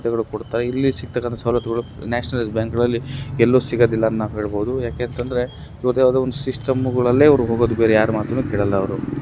ಕೊಡ್ತಾ ಇಲ್ಲಿಸಿಗ್ತಕಂತಹ ಸವಲತ್ತುಗಳು ನ್ಯಾಶ್ನಲೈಸ್ಡ್ ಬ್ಯಾಂಕಲ್ಲಿ ಎಲ್ಲು ಸಿಗೋದಿಲ್ಲ ಅಂತ ನಾವು ಹೇಳಬಹುದು ಯಾಕೇಂತಂದ್ರೆ ಇವಾಗೆ ಯಾವದೋ ಒಂದು ಸಿಸ್ಟಮ್ಗಳಲ್ಲೇ ಅವ್ರು ಹೋಗೋದು ಬೇರೆ ಯಾರ ಮಾತನ್ನು ಅವರು ಕೇಳೋಲ್ಲ ಅವ್ರು.